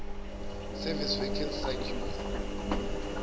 service vacancy circular